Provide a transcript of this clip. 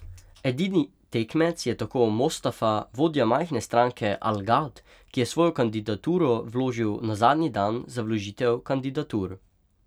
Edini tekmec je tako Mostafa, vodja majhne stranke Al Gad, ki je svojo kandidaturo vložil na zadnji dan za vložitev kandidatur.